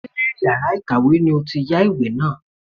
Ṣé yàrá ìkàwé ni ó ti yá ìwé náà.